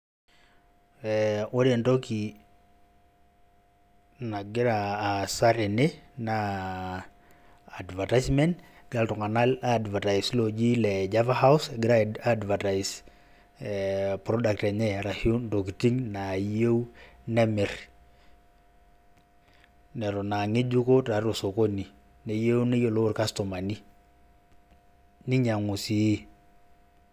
Ore entoki nagira aasa tene, naa advertisement. Egira iltung'anak advertise loji le Java House, egira advertise e product enye, arashu ntokiting naayieu nemir, neton ang'ejuko tiatua osokoni, neyieu neyiolou irkastomani. Ninyang'u sii.